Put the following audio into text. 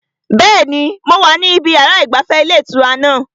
Bẹ́ẹ̀ni, mo wà níbi yàrá ìgbafẹ́ ilé ìtura náà